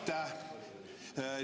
Aitäh!